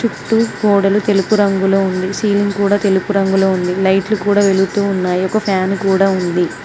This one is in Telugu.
చుట్టు గోడలు తెలుపు రంగులో ఉంది సీలింగ్ కూడా తెలుపు రంగులో ఉంది లైట్లు కూడా వెలుగుతూ ఉన్నాయి ఒక ఫ్యాన్ కూడా ఉంది.